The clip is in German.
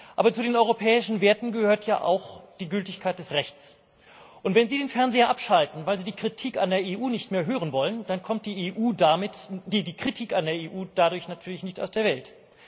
Aber zu den europäischen Werten gehört auch die Gültigkeit des Rechts, und wenn Sie den Fernseher abschalten, weil Sie die Kritik an der EU nicht mehr hören wollen, dann kommt die Kritik an der EU dadurch natürlich nicht aus der Welt.